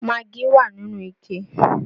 Maggi wà nínú ike